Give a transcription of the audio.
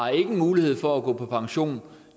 mulighed for at gå på pension